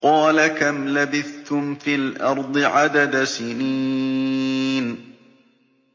قَالَ كَمْ لَبِثْتُمْ فِي الْأَرْضِ عَدَدَ سِنِينَ